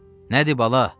Nədi, bala?